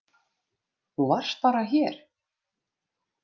Þú varst bara hér.